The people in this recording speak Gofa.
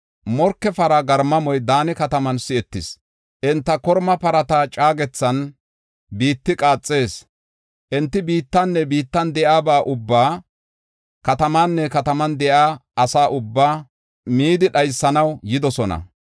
Morke para garmamoy Daane kataman si7etees; enta korma parata caagethan biitti qaaxees. Enti biittanne biittan de7iyaba ubbaa, katamaanne kataman de7iya ase ubbaa midi dhaysanaw yidosona.